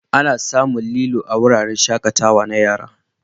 Ana samun lilo a wuraren shakatawa na yara.